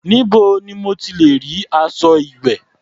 Níbo ni mo ti lẹ̀ rí aṣọ ìwẹ̀?